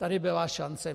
Tady byla šance.